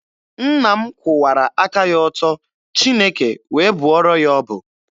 Nna m kwụwara aka ya ọtọ, Chineke wee bụọrọ ya ọbụ.